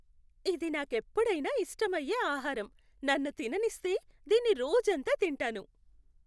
ఇది నాకెప్పుడైనా ఇష్టమయ్యే ఆహారం, నన్ను తిననిస్తే, దీన్ని రోజంతా తింటాను.